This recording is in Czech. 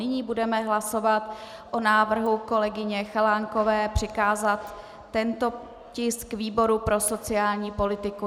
Nyní budeme hlasovat o návrhu kolegyně Chalánkové přikázat tento tisk výboru pro sociální politiku.